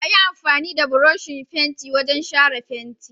Ayi amfani da burushin fenti wajan shara fenti